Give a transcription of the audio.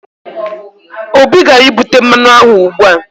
Obi gara ibute mmanụ aṅụ ugbua